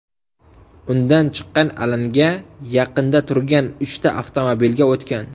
Undan chiqqan alanga yaqinda turgan uchta avtomobilga o‘tgan.